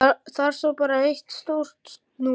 Þar stóð bara eitt stórt núll.